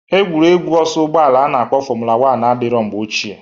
Egwuregwu ọsọ ụgbọala a na-akpọ fọmụla wan adịrọ mgbe ochie.